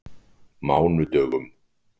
mánudögum